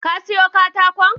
Ka siyo katakon?